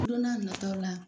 Don n'a nataw la.